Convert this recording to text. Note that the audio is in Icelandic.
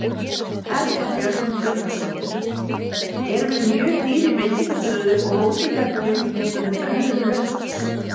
Erla Björg Gunnarsdóttir: Erum við mjög dýr í veitingastöðum og hótelherbergjum miðað við önnur lönd?